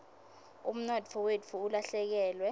umnotfo wetfu ulahlekelwe